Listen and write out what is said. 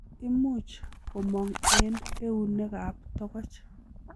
Imuch komong' en eunek ak togoch.